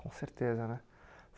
Com certeza, né?